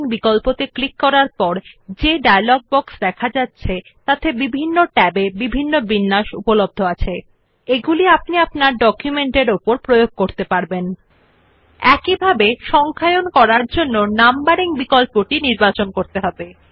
আপনি bullets and numbering বিকল্পটি click করে ডায়লগ বক্স প্রদর্শিত হবে যা পরে দেখুন উপলব্ধ বিভিন্ন ট্যাবের অধীন বিভিন্ন স্টাইল যা আপনি আপনার ডকুমেন্টের উপর প্রয়োগ করতে পারবেন আপনি The dialog box which you see after clicking on bullets and numbering option provides you various styles under different tabs which you can apply on your document